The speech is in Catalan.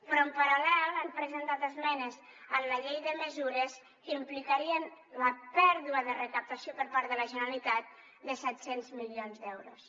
però en paral·lel han presentat esmenes en la llei de mesures que implicarien la pèrdua de recaptació per part de la generalitat de set cents milions d’euros